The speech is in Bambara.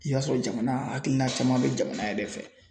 I y'a sɔrɔ jamana hakilina caman bɛ jamana yɛrɛ fɛ.